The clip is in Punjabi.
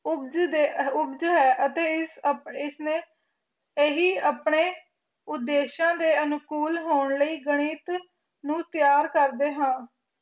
ਉਪਜ ਹੈ ਅਤੇ ਇਸ ਆਪਣੇ ਉਦੇਸ਼ਾ ਦੇ ਅਨੂਕੂਲ ਹੋਣ ਦੇ ਲਈ ਗਣਿਤ ਨੂੰ ਤਿਆਰ ਕਰਦੇ ਹਾ